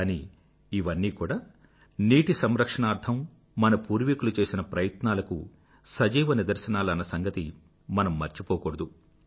కానీ ఇవన్నీ కూడా నీటి సంరక్షణార్థం మన పూర్వీకులు చేసిన ప్రయత్నాలకు సజీవ నిదర్శనాలు అన్న సంగతి మనం మర్చిపోకూడదు